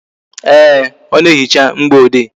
Ee, ọ na-ehicha mgboede